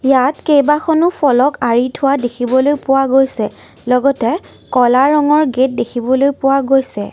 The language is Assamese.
ইয়াত কেইবাখনো ফলক আঁৰি থোৱা দেখিবলৈ পোৱা গৈছে লগতে ক'লা ৰঙৰ গেট দেখিবলৈ পোৱা গৈছে।